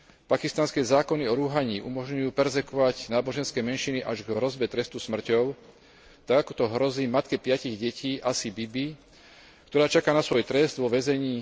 Pakistanské zákony o rúhaní umožňujú perzekvovať náboženské menšiny až k hrozbe trestu smrťou tak, ako to hrozí matke piatich detí Asie Bibi, ktorá čaká na svoj trest vo väzení.